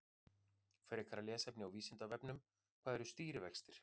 Frekara lesefni á Vísindavefnum: Hvað eru stýrivextir?